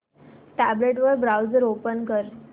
tablet वर browser open कर